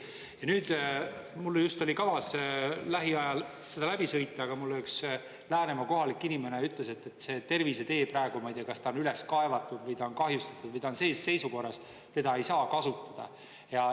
Ja nüüd mul oli kavas lähiajal seea läbi sõita, aga mulle üks Läänemaa kohalik inimene ütles, et see tervisetee praegu, ma ei tea, kas ta on üles kaevatud või ta on kahjustatud või ta on sellises seisukorras, et seda ei saa kasutada.